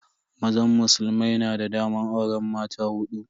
Mazan musulmai na da daman auren mata hudu.